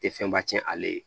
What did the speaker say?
Tɛ fɛnba cɛn ale ye